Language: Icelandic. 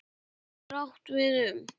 Stofn getur átt við um